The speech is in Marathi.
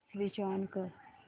अॅप स्विच ऑन कर